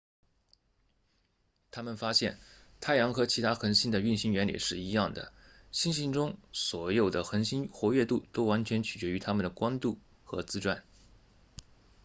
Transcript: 他们发现太阳和其他恒星的运行原理是一样的星系中所有恒星的活跃度都完全决定于它们的光度和自转